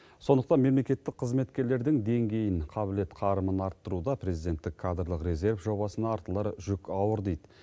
сондықтан мемлекеттік қызметкерлердің деңгейін қабілет қарымын арттыруда президенттік кадрлық резерв жобасына артылар жүк ауыр дейді